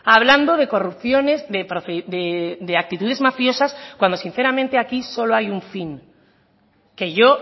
hablando de corrupciones de actitudes mafiosas cuando sinceramente aquí solo hay un fin que yo